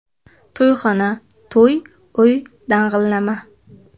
To‘yxona, to‘y, uy dang‘illama.